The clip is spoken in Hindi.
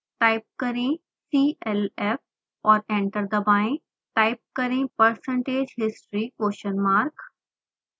टाइप करें clf और एंटर दबाएं